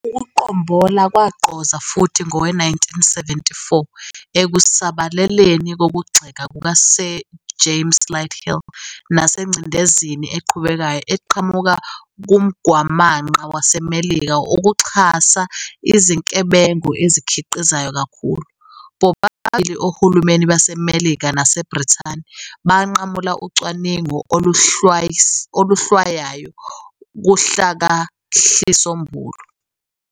Ukuqombola kwagqoza futhi ngowe- 1974, ekusabeleni kokugxeka kuka-Sir James Lighthill nasengcindezeni eqhubekayo eqhamuka kumgwamanqa waseMelika wokuxhasa izinkebengo ezikhiqizwayo kakhulu, bobabili ohulumeni baseMelika naseBrithani banqamula ucwaningo oluhlwayayo kuhlakahlisombulu.